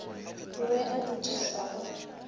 o be a dudišwa go